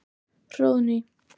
Hróðný